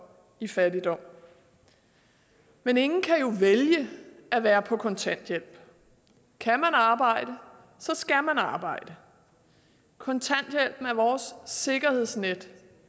i fattigdom men ingen kan jo vælge at være på kontanthjælp kan man arbejde skal man arbejde kontanthjælpen er vores sikkerhedsnet